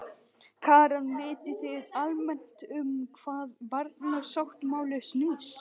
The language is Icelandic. Karen: Vitið þið almennt um hvað barnasáttmálinn snýst?